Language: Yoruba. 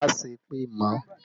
Má sẹ́ èpè mọ́!